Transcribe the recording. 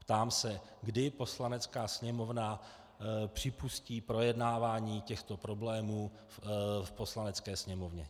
Ptám se, kdy Poslanecká sněmovna připustí projednávání těchto problémů v Poslanecké sněmovně?